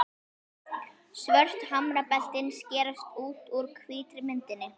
Svört hamrabeltin skerast út úr hvítri myndinni.